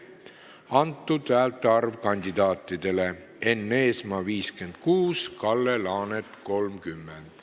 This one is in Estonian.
Kandidaatidele antud häälte arv: Enn Eesmaa – 56, Kalle Laanet – 30.